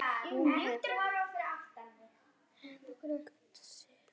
Hún hefði hengt sig.